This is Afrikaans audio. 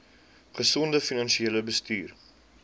gesonde finansiële bestuur